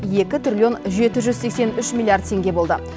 екі триллион жеті жүз сексен үш миллиард теңге болды